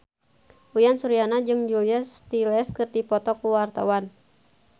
Uyan Suryana jeung Julia Stiles keur dipoto ku wartawan